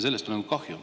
" Sellest on kahju.